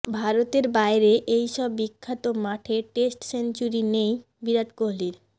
ভারতের বাইরে এই সব বিখ্যাত মাঠে টেস্ট সেঞ্চুরি নেই বিরাট কোহলির